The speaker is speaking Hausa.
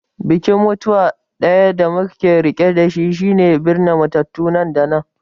Bikin mutuwa ɗaya da muke riƙe da shi shine binne matattu nan da nan.